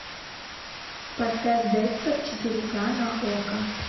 поставь декстер четыре к на окко